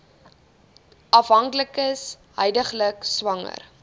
afhanklikes huidiglik swanger